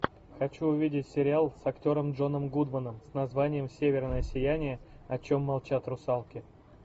хочу увидеть сериал с актером джоном гудманом с названием северное сияние о чем молчат русалки